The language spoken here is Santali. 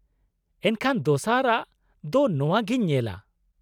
ᱮᱱᱠᱷᱟᱱ ᱫᱚᱥᱟᱨ ᱟᱜ ᱫᱚ ᱱᱚᱶᱟ ᱜᱮᱧ ᱧᱮᱞᱟ ᱾